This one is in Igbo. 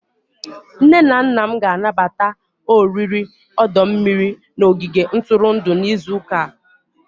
Nne na nna m ga-anabata oriri ọdọ mmiri n',ogige ntụrụndụ n'izu ụka a.